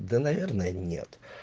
да наверное нет